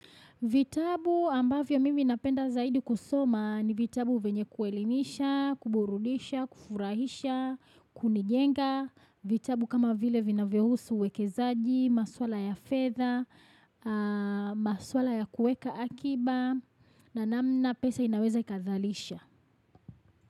Vitabu ambavyo mimi napenda zaidi kusoma ni vitabu vyenye kuelimisha, kuburudisha, kufurahisha, kunijenga, vitabu kama vile vinavyohusu uwekezaji, masuala ya fedha, masuala ya kuweka akiba, na namna pesa inaweza ikazalisha.